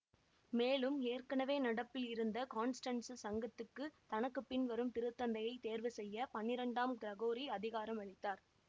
மேலும் ஏற்கனவே நடப்பில் இருந்த காண்ஸ்டன்சு சங்கத்துக்கு தனக்கு பின் வரும் திருத்தந்தையை தேர்வு செய்ய பன்னிரண்டாம் கிரகோரி அதிகாரம் அளித்தார்